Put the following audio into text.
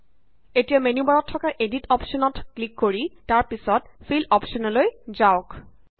এতিয়া মেন্যু বাৰত থকা এদিট ক্লিক কৰি তাৰ পাছত ফিল অপশ্যানলৈ যাওক